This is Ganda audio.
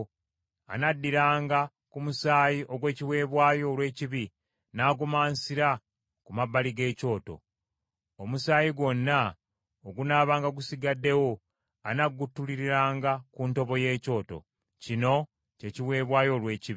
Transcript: anaddiranga ku musaayi ogw’ekiweebwayo olw’ekibi n’agumansira ku mabbali g’ekyoto. Omusaayi gwonna ogunaabanga gusigaddewo anaaguttululiranga ku ntobo y’ekyoto. Kino kye kiweebwayo olw’ekibi.